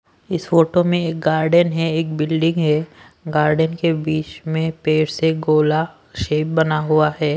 इस फोटो में एक गार्डन है एक बिल्डिंग है गार्डन के बीच में पेड़ से गोला शेप बना हुआ है।